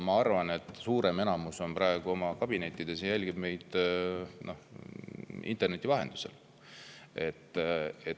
Ma arvan, et suurem enamus on praegu oma kabinettides ja jälgib meid interneti vahendusel.